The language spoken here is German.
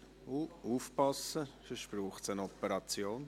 – Vorsicht, sonst braucht es eine Operation!